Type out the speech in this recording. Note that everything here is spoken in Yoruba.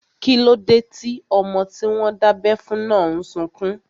Kíló dé tí ọmọ tí wọ́n dábẹ́ fún náà n sọkún?